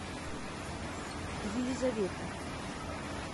елизавета